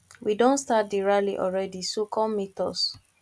we don start the rally already so come meet us